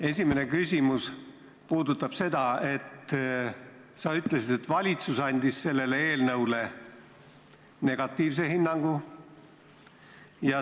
Esimene küsimus puudutab seda, et sa ütlesid, et valitsus andis sellele eelnõule negatiivse hinnangu.